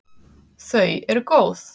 Þau eru góð.